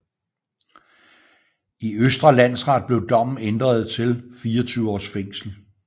I Østre Landsret blev dommen ændret til 24 års fængsel